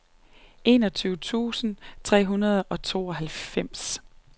enogtyve tusind tre hundrede og tooghalvfems